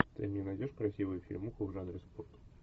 ты мне найдешь красивую фильмуху в жанре спорт